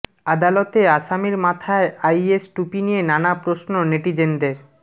আদালতে আসামির মাথায় আইএস টুপি নিয়ে নানা প্রশ্ন নেটিজেনদের